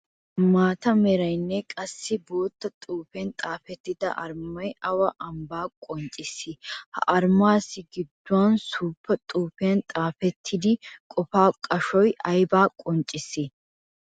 Maata meraynne qassikka bootta xuufiyan xaafettida arumay awaa ambbaa qonccissi? Ha arumaassi giduwaan suufa xuufiyan xaafettida qofaa qashoy aybba qonccissi?